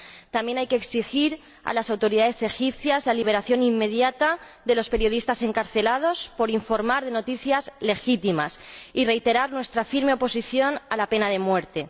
También hay que exigir a las autoridades egipcias la liberación inmediata de los periodistas encarcelados por informar de noticias legítimas y reiterar nuestra firme oposición a la pena de muerte.